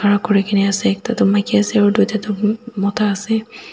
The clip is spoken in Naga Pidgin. khara kurikaena ase ekta tu maki ase tuita toh mota ase.